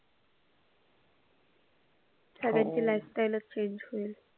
सगळ्यांची lifestyle च change होईल.